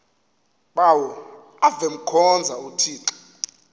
bawo avemkhonza uthixo